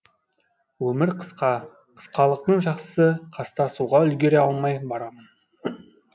өмір қысқа қысқалықтың жақсысы қастасуға үлгере алмай барамын